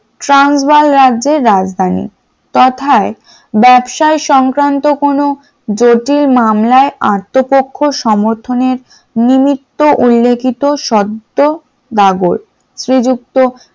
ট্রান্সবার রাজ্যের রাজধানী তথায় ব্যবসায় সংক্রান্ত কোনো জটিল মামলায় আত্মপক্ষ সমর্থনের নিমিত্ত উল্লেখিত শর্ত বাগল, শ্রীযুক্ত